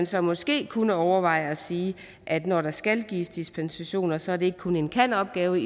så måske kunne overveje at sige at når der skal gives dispensationer så er det ikke kun en kan opgave